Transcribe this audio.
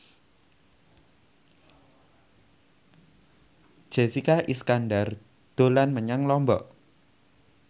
Jessica Iskandar dolan menyang Lombok